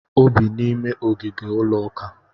O bi n'ime ogige ụlọuka